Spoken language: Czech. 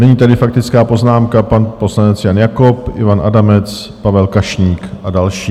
Nyní tedy faktická poznámka pan poslanec Jan Jakob, Ivan Adamec, Pavel Kašník a další.